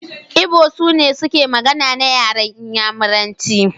Igbo sune suke magana na yaran Inyamuranci.